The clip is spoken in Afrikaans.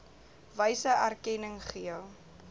wyse erkenning gee